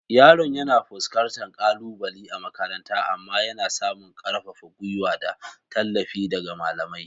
Yaron yana fuskantar kalubale a makaranta amma yana samun ƙarfafar gwuiwa da tallafi daga malamai.